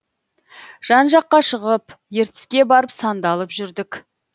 жан жаққа шығып ертіске барып сандалып жүрдік